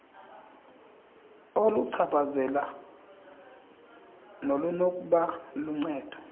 oluchaphazela nolunokuba luncedo